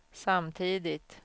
samtidigt